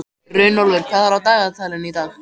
Runólfur, hvað er á dagatalinu í dag?